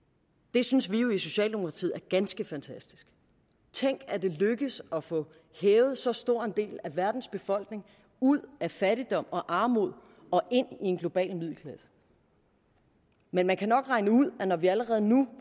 det synes vi jo i socialdemokratiet er ganske fantastisk tænk at det lykkes at få hævet så stor en del af verdens befolkning ud af fattigdom og armod og ind i en global middelklasse men man kan nok regne ud at når vi allerede nu